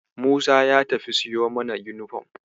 Musa ya tafi siyo mana yunifom.